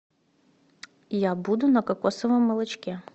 я буду на кокосовом молочке